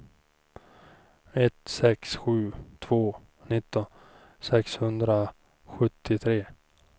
ett sex sju två nitton sexhundrasjuttiotre